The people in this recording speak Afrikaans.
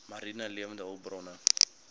mariene lewende hulpbronne